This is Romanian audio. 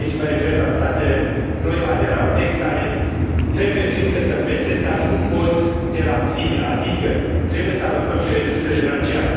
Și aici mă refer la statele noi aderate care trebuie încă să învețe, dar nu pot de la sine, adică trebuie să alocăm și resursele financiare.